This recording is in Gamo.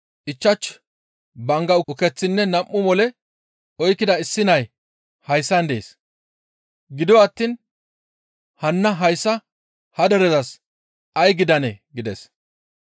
«Ichchashu bangga ukeththinne nam7u mole oykkida issi nay hayssan dees. Gido attiin hanna hayssa ha derezas ay gidanee?» gides.